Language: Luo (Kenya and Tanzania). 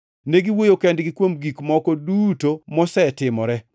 Negiwuoyo kendgi kuom gik moko duto mosetimore.